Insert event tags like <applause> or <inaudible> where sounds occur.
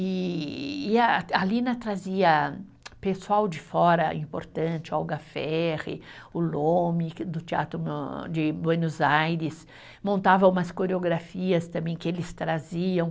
E e a, a Lina trazia pessoal de fora importante, Olga Ferri, o Lomi que, do Teatro <unintelligible> de Buenos Aires, montava umas coreografias também que eles traziam.